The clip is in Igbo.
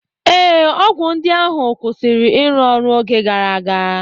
Ee, ọgwụ ndị ahụ kwụsịrị ịrụ ọrụ oge gara aga